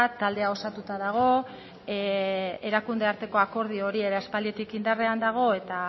taldea osatua dago erakunde arteko akordio hori aspalditik indarrean dago eta